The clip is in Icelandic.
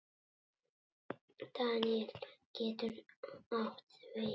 Daníel getur átt við